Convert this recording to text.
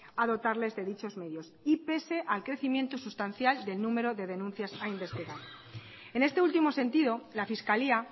a dotarles de dichos medios y pese al incremento sustancial del número de denuncias a investigar en este último sentido la fiscalía